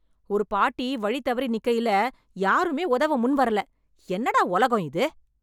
ஒரு பாட்டி வழி தவறி நிக்கயில யாருமே உதவ முன் வரல, என்னடா உலகம் இது?